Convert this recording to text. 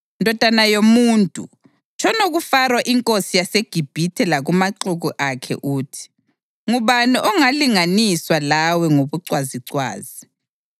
“Ndodana yomuntu, tshono kuFaro inkosi yaseGibhithe lakumaxuku akhe uthi: ‘Ngubani ongalinganiswa lawe ngobucwazicwazi?